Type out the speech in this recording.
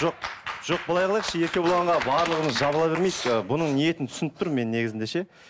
жоқ жоқ былай қылайықшы еркебұланға барлығымыз жабыла бермейікші ы бұның ниетін түсініп тұрмын мен негізінде ше